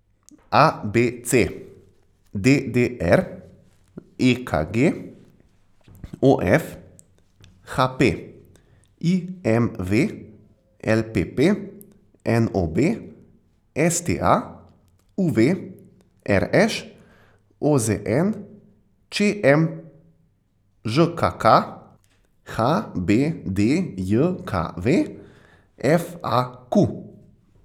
A B C; D D R; E K G; O F; H P; I M V; L P P; N O B; S T A; U V; R Š; O Z N; Č M; Ž K K; H B D J K V; F A Q.